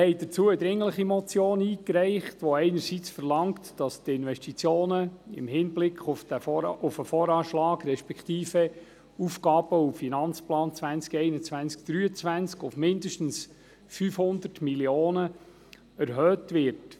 Dazu haben wir eine dringliche Motion eingereicht, welche einerseits verlangt, dass die Investitionen im Hinblick auf den Voranschlag, beziehungsweise den Aufgaben- und Finanzplan 2021–2023, auf mindestens 500 Mio. Franken erhöht werden.